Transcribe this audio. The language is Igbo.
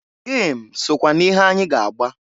Gem sokwa n'ihe anyị ga-agba.